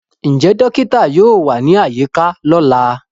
Njẹ dokita yoo wa ni ayika lọla?